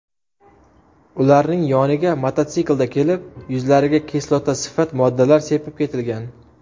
Ularning yoniga mototsiklda kelib, yuzlariga kislotasifat moddalar sepib ketilgan.